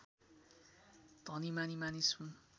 धनीमानी मानिस हुन्